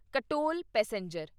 Katol passenger